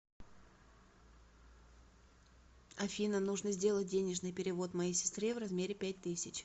афина нужно сделать денежный перевод моей сестре в размере пять тысяч